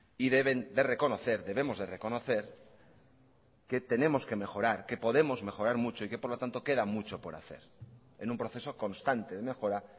y deben de reconocer debemos de reconocer que tenemos que mejorar que podemos mejorar mucho y que por lo tanto queda mucho por hacer en un proceso constante de mejora